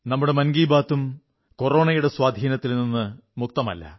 നമ്മുടെ മൻ കീ ബാത് ഉം കൊറോണയുടെ സ്വാധീനത്തിൽ നിന്നു മുക്തമല്ല